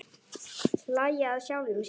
Hlæja að sjálfum sér.